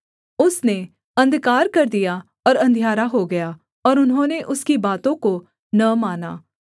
उसने अंधकार कर दिया और अंधियारा हो गया और उन्होंने उसकी बातों को न माना